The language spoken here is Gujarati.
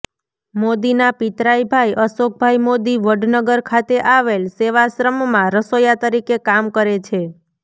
મોદીના પિતરાઈ ભાઈ અશોકભાઈ મોદી વડનગર ખાતે આવેલ સેવાશ્રમમાં રસોયા તરીકે કામ કરે છે